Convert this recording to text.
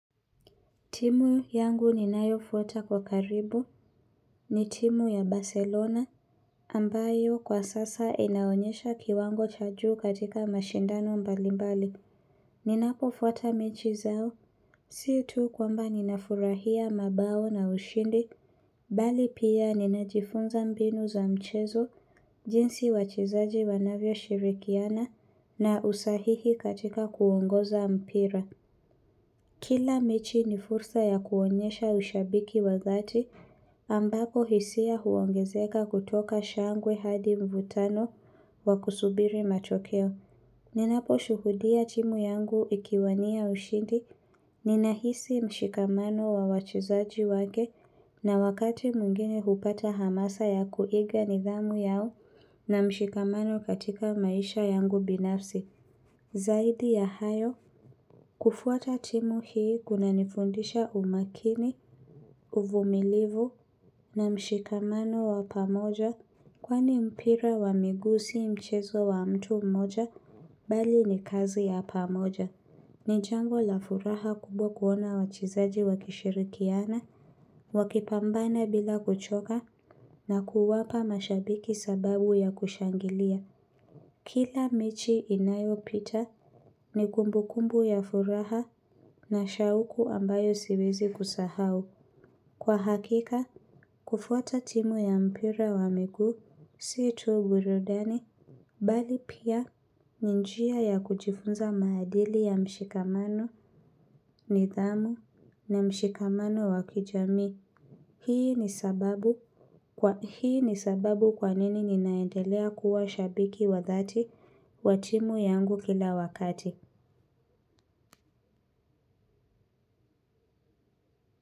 Timu yangu ninayofuata kwa karibu ni timu ya Barcelona ambayo kwa sasa inaonyesha kiwango cha juu katika mashindano mbalimbali. Ninapofuata mechi zao. Sio tu kwamba ninafurahia mabao na ushindi. Bali pia ninajifunza mbinu za mchezo jinsi wachizaji wanavyo shirikiana na usahihi katika kuongoza mpira. Kila mechi ni fursa ya kuonyesha ushabiki wa thati ambapo hisia huongezeka kutoka shangwe hadi mvutano wa kusubiri machokeo. Ninaposhuhudia timu yangu ikiwania ushindi. Ninahisi mshikamano wa wachizaji wake na wakati mwingine hupata hamasa ya kuiga nidhamu yao na mshikamano katika maisha yangu binafsi. Zaidi ya hayo kufuata timu hii kuna nifundisha umakini, uvumilivu na mshikamano wa pamoja kwani mpira wa miguu mchezo wa mtu mmoja bali ni kazi ya pamoja. Ni jango la furaha kubwa kuona wachezaji wakishirikiana, wakipambana bila kuchoka na kuwapa mashabiki sababu ya kushangilia. Kila michi inayopita ni kumbukumbu ya furaha na shauku ambayo siwezi kusahau. Kwa hakika, kufuata timu ya mpira wa miguu, siyo tu buradani, bali pia ni njia ya kujifunza madili ya mshikamano ni dhamu na mshikamano wakijami. Hii ni sababu kwa nini ninaendelea kuwa shabiki wa thati wa timu yangu kila wakati.